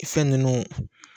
Fɛn nunnu